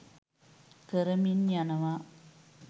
කරමින් යනවා